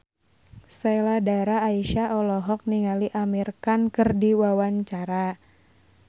Sheila Dara Aisha olohok ningali Amir Khan keur diwawancara